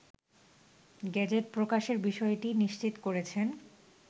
gazette প্রকাশের বিষয়টি নিশ্চিত করেছেন